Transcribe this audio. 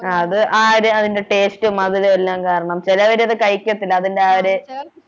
ആ അത് ആ ഒരു അതിൻ്റെ taste ഉം മധുരം എല്ലാം കാരണം ചെലവരത് കഴിക്കത്തില്ല അതിൻ്റെ ആ ഒര്